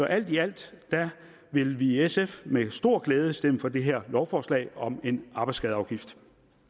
alt i alt vil vi i sf med stor glæde stemme for det her lovforslag om en arbejdsskadeafgift